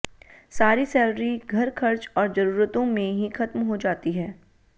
सारी सैलरी घरखर्च और जरूरतों में ही खत्म हो जाती है